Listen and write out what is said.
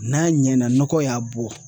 N'a ɲɛna nɔgɔ y'a bɔ